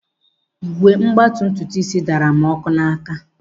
Ígwè mgbatị ntutuisi daara m ọkụ n'áká.